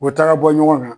U taara bɔ ɲɔgɔn na